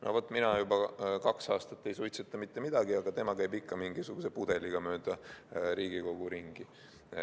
No vaat, mina juba kaks aastat ei suitseta mitte midagi, aga tema käib ikka mingisuguse pudeliga mööda Riigikogu ringi.